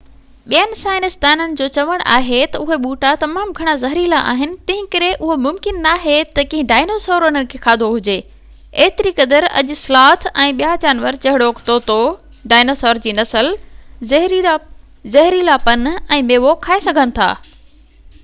ٻين سائنسدانن جو چوڻ آهي تہ اهي ٻوٽا تمام گهڻا زهريلا آهن تنهنڪري اهو ممڪن ناهي تہ ڪنهن ڊائنوسر انهن کي کاڌو هجي، ايتري قدر اڄ سلاٿ ۽ ٻيا جانور جهڙوڪ طوطو ڊائنوسار جي نسل زهريلا پن ۽ ميوو کائي سگهن ٿا